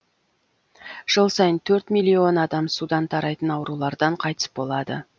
жыл сайын төрт миллион адам судан тарайтын аурулардан қайтыс болады